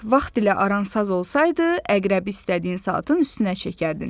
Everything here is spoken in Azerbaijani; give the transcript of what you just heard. Vaxt ilə aran saz olsaydı, əqrəbi istədiyin saatın üstünə çəkərdin.